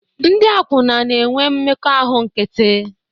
Ndị akwụna na-enwe mmekọahụ nkịtị